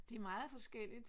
Det er meget forskelligt